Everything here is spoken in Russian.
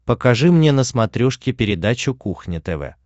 покажи мне на смотрешке передачу кухня тв